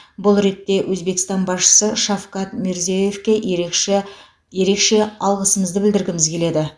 бұл ретте өзбекстан басшысы шавкат мирзиеевке ерекше ерекше алғысымызды білдіргіміз келеді